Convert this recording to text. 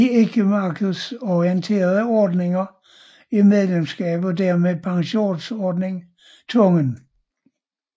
I ikkemarkedsorienterede ordninger er medlemskab og dermed pensionsordning tvungen